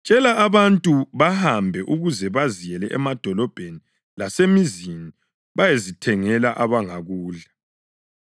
Tshela abantu bahambe ukuze baziyele emadolobheni lasemizini bayezithengela abangakudla.”